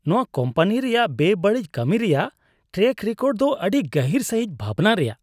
ᱱᱚᱶᱟ ᱠᱳᱢᱯᱟᱱᱤ ᱨᱮᱭᱟᱜ ᱵᱮᱼᱵᱟᱹᱲᱤᱡ ᱠᱟᱹᱢᱤ ᱨᱮᱭᱟᱜ ᱴᱨᱮᱹᱠ ᱨᱮᱠᱚᱨᱰ ᱫᱚ ᱟᱹᱰᱤ ᱜᱟᱹᱜᱤᱨ ᱥᱟᱹᱦᱤᱡ ᱵᱷᱟᱵᱽᱱᱟ ᱨᱮᱭᱟᱜ ᱾